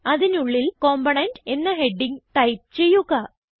അതിനുള്ളിൽ കമ്പോണന്റ് എന്ന heading type ചെയ്യുക